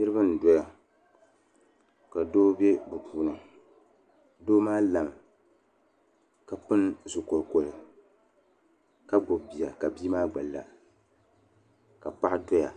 Niraba n doya ka doo bɛ bi puuni doo maa lami ka pili zuɣu kolikoli ka gbubi bia ka bia maa gna la ka paɣa doya